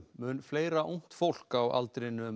mun fleira ungt fólk á aldrinum